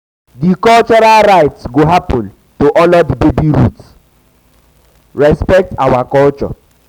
di cultural rites go happen to honor di baby's roots di baby's roots respect our um culture.